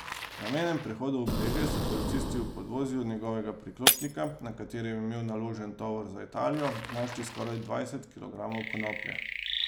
Na mejnem prehodu Obrežje so policisti v podvozju njegovega priklopnika, na katerem je imel naložen tovor za Italijo, našli skoraj dvajset kilogramov konoplje.